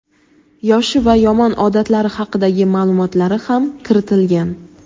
yoshi va yomon odatlari haqidagi ma’lumotlari ham kiritilgan.